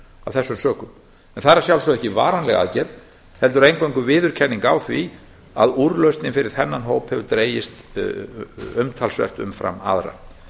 þessum sökum en það er að sjálfsögðu ekki varanleg aðgerð heldur eingöngu viðurkenning á því að úrlausnin fyrir þennan hóp hefur dregist umtalsvert umfram aðra